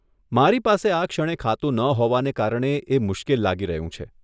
મારી પાસે આ ક્ષણે ખાતું ન હોવાને કારણે એ મુશ્કેલ લાગી રહ્યું છે.